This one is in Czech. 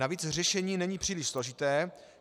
Navíc řešení není příliš složité.